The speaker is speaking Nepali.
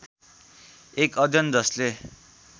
एक अध्ययन जसले